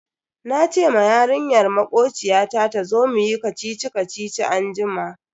Nace ma yarinyar makociyata tazo muyi kacici-kacici anjima.